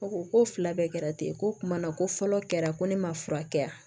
Ko ko fila bɛɛ kɛra ten ko kumana ko fɔlɔ kɛra ko ne ma fura kɛ yan